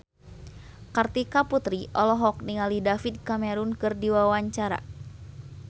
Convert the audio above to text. Kartika Putri olohok ningali David Cameron keur diwawancara